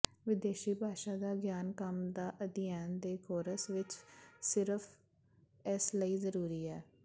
ਵਿਦੇਸ਼ੀ ਭਾਸ਼ਾ ਦਾ ਗਿਆਨ ਕੰਮ ਦਾ ਅਧਿਐਨ ਦੇ ਕੋਰਸ ਵਿਚ ਸਿਰਫ਼ ਇਸ ਲਈ ਜ਼ਰੂਰੀ ਹੈ